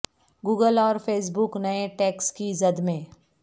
Google اور Facebook نئے tax کی زد میں